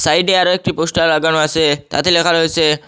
সাইডে আরও একটি পোস্টার লাগানো আছে তাতে লেখা রয়েসে--